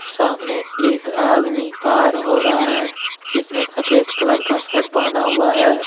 सामने एक आदमी पार हो रहा है जिसने सफेद कलर का शर्ट पहना हुआ है।